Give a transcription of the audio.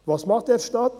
Was macht der Staat?